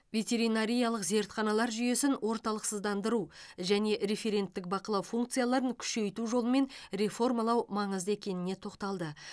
ветеринариялық зертханалар жүйесін орталықсыздандыру және референттік бақылау функцияларын күшейту жолымен реформалау маңызды екеніне тоқталды